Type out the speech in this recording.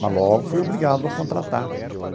Mas logo fui obrigado a contratar.